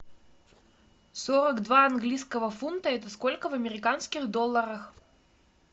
сорок два английского фунта это сколько в американских долларах